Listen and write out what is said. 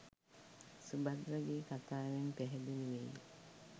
සුභද්‍රගේ කථාවෙන් පැහැදිලි වෙයි.